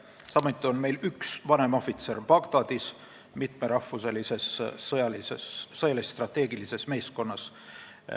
Samuti on meil Bagdadis üks vanemohvitser mitmerahvuselises sõjalis-strateegilises meeskonnas.